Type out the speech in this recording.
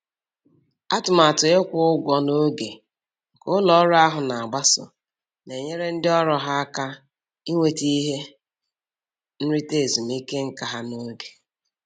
Atụmatụ ịkwụ ụgwọ n'oge nke ụlọ ọrụ ahụ na-agbaso na-enyere ndị ọrụ ha aka inweta ihe nrita ezumike nka ha n'oge